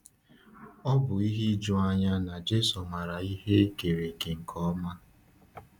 Ò bụ ihe ijuanya na Jésù maara ihe e kere eke nke ọma?